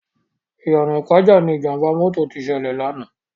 Iyana Ipaja ni Ijàmbá mòtó ti sèlè làná